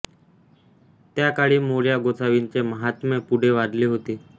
त्या काळी मोरया गोसावींचे माहात्म्य खूप वाढले होते